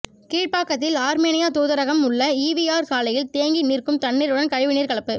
கீழ்ப்பாக்கத்தில் Armenia தூதரகம் உள்ள ஈவிஆர் சாலையில் தேங்கி நிற்கும் தண்ணீருடன் கழிவு நீர் கலப்பு